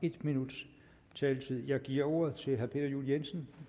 en minuts taletid jeg giver ordet til herre peter juel jensen